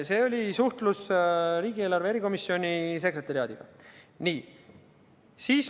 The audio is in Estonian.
See oli suhtlus riigieelarve erikomisjoni sekretariaadiga.